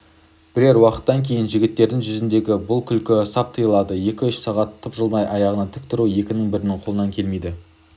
бірер уақыттан кейін жігіттердің жүзіндегі бұл күлкі сап тыйылады екі-үш сағат тапжылмай аяғынан тік тұру екінің бірінің қолынан келмейді